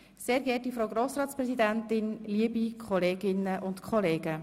«Sehr geehrte Frau Grossratspräsidentin, Liebe Kolleginnen und Kollegen.